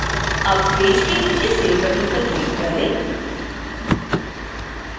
अब पेज के नीचे save बटन पर क्लिक करें